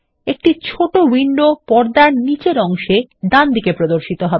একটি ছোট উইন্ডো পর্দার নীচের অংশে ডানদিকে প্রর্দশিত হবে